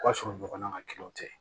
O ka sɔrɔ ɲɔgɔnna kelenw tɛ